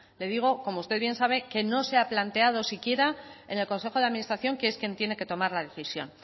le digo como usted bien sabe que no se ha planteado siquiera en el consejo de administración que es quien tiene que tomar la decisión